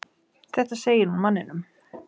Þetta segir hún manninum.